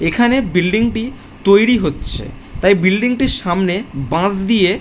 এখানে বিল্ডিং টি তৈরি হচ্ছে তাই বিল্ডিং টির সামনে বাঁশ দিয়ে --